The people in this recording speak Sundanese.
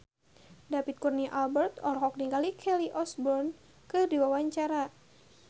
David Kurnia Albert olohok ningali Kelly Osbourne keur diwawancara